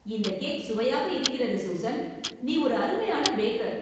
இந்தக் கேக் சுவையாக இருக்கிறது, சூசன்! நீ ஒரு அருமையான பேக்கர்!